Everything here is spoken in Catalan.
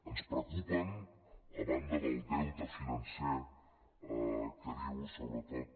ens preocupen a banda del deute financer que diu sobretot